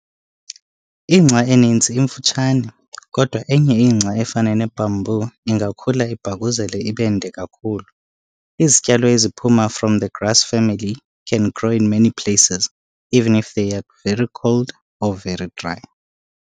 Ingca eninzi imfutshane, kodwa enye ingca efana nebamboo ingakhula ibhakuzele ibende kakhulu. Izityalo eziphuma from the grass family can grow in many places, even if they are very cold or very dry.